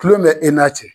Kulon bɛ e n'a cɛ